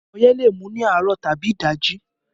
Ọyẹ́ le mú ní àárọ̀ tàbí ìdajì